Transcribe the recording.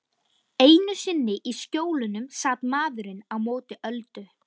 Einu sinni í Skjólunum sat maðurinn á móti Öldu.